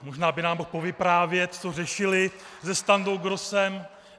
Možná by nám mohl povyprávět, co řešili se Standou Grossem.